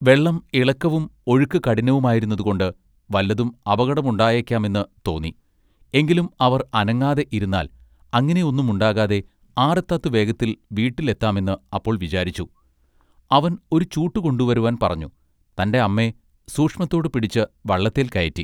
വെള്ളം ഇളക്കവും ഒഴുക്ക് കഠിനവുമായിരുന്നതുകൊണ്ട് വല്ലതും അപകടമുണ്ടായേക്കാമെന്ന് തേ തോന്നി എങ്കിലും അവർ അനങ്ങാതെ ഇരുന്നാൽ അങ്ങിനെഒന്നും ഉണ്ടാകാതെ ആറെ താത്തു വേഗത്തിൽ വീട്ടിൽ എത്താമെന്ന് അപ്പോൾ വിചാരിച്ചു അവൻ ഒരു ചൂട്ടു കൊണ്ടുവരുവാൻ പറഞ്ഞു തന്റെ അമ്മെ സൂക്ഷത്തൊടു പിടിച്ച് വള്ളത്തേൽ കയറ്റി.